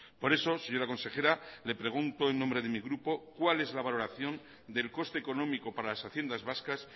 por eso señora consejera le pregunto en nombre de mi grupo cuál es la valoración del coste económico para las haciendas vascas